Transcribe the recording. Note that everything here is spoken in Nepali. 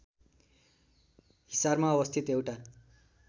हिसारमा अवस्थित एउटा